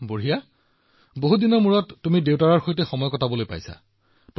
ৱাহ ৱাহ ৱাহ বহু দিনৰ পিছত তুমি দেউতাৰ সৈতে সময় কটোৱাৰ সুযোগ পাইছা